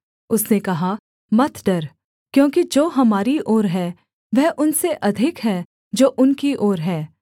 उसने कहा मत डर क्योंकि जो हमारी ओर हैं वह उनसे अधिक हैं जो उनकी ओर हैं